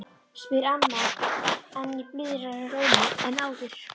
spyr amma í enn blíðari rómi en áður.